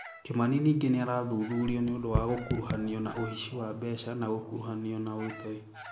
Kimani ningĩ nĩarathuthurio nĩũndũ wa gũkuruhanio na ũici wa mbeca na gũkuruhanio na ũtoi